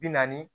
Bi naani